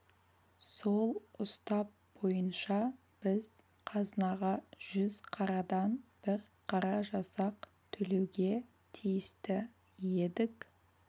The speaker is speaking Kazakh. сол ұстап бойынша біз қазынаға жүз қарадан бір қара жасақ төлеуге тиісті едік